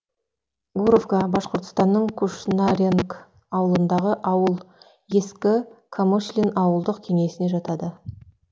гуровка башқұртстанның кушнаренк ауылындағы ауыл ескі камышлин ауылдық кеңесіне жатады